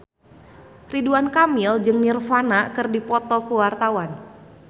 Ridwan Kamil jeung Nirvana keur dipoto ku wartawan